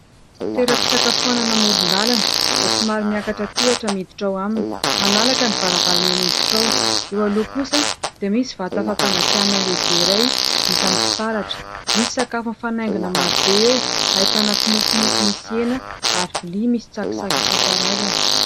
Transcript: Toeram-pisakafoanana amoron-dàlana, izay somary miakatra tohatra miditra ao aminy. Malalaka ny varavarana miditra ao. Eo aloha kosa dia misy vata fampangatsiahana lehibe iray vita amin'ny fitaratra. Misy sakafo mifanaingina maro be eo, ahitana kimofomofo misy hena ary vilia misy tsakitsaky isan-karazany.